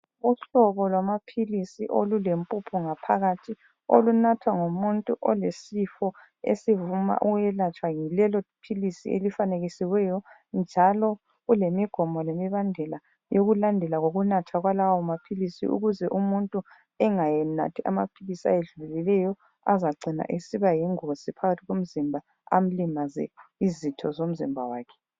Uhlobo lwamaphilisi olulempuphu ngaphakathi olunathwa ngumuntu olesifo esivuma ukwelatshwa yilelophilisi elifanekisiweyo njalo kulemigomo lemibandela yokulandelwa kokunathwa kwalawo maphilisi ukuze umuntu engayenathi amaphilisi ayedluleleyo azagcina esiba yingozi phakathi komzimba amlimaze izitho zomzimba wakhe.